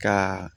Ka